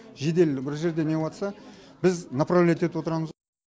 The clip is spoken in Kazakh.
жедел бір жерде не болыватса біз направлять етіп отырамыз